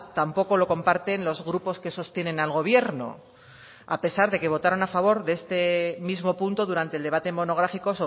tampoco lo comparten los grupos que sostienen al gobierno a pesar de que votaron a favor de este mismo punto durante el debate monográfico